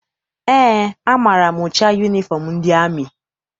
Eé, amaara m ụcha yunifọm ndị amị.